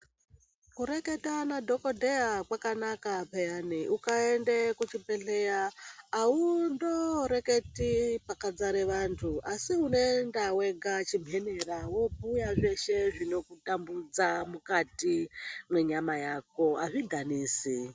Kureketa nadhogodheya kwakanaka peyani, ukaende kuchibhedhleya haundo reketi pakazare vantu asiunoenda wega chimhemera. Vobhuya zveshe zvinokutambudza mukati mwenyama yako hazvidhanisi.